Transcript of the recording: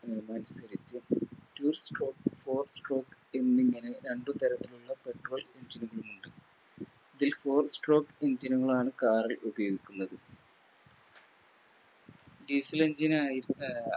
Two stroke four stroke എന്നിങ്ങനെ രണ്ട് തരത്തിലുള്ള Petrol engine കളുമുണ്ട് ഇതിൽ Four stroke engine നുകളാണ് Car ൽ ഉപയോഗിക്കുന്നത് Diesel engine ആയി